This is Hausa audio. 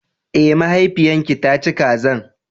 Eh, mahaifiyan ki ta ci kazan.